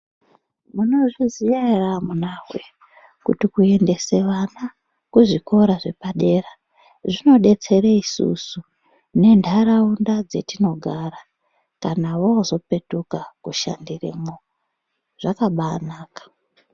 Munozviziya ere amunawe ,kuti kuendese vana kuzvikora zvepadera zvinodetsere isusu ne nharaunda dzatinogara kana vazopetuka koshandiremwo zvakabanaka.